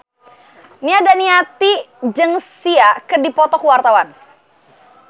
Nia Daniati jeung Sia keur dipoto ku wartawan